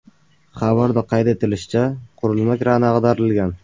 Xabarda qayd etilishicha, qurilish krani ag‘darilgan.